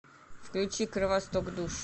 включи кровосток душ